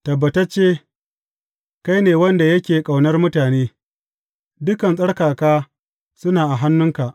Tabbatacce kai ne wanda yake ƙaunar mutane; dukan tsarkaka suna a hannunka.